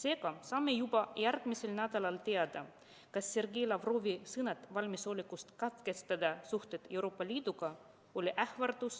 Seega saame juba järgmisel nädalal teada, kas Sergei Lavrovi sõnad valmisolekust katkestada suhted Euroopa Liiduga oli ähvardus